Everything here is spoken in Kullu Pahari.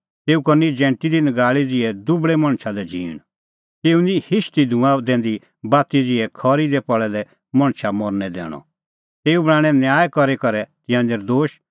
तेऊ करनी जैंटी दी नगाल़ै ज़िहै दुबल़ै मणछा लै झींण तेऊ निं हिशदी धूँआं दैंदी बाती ज़िहै खरी दी पल़ै दै मणछा मरनै दैंदअ तेऊ बणांणैं न्याय करी करै तिंयां नर्दोश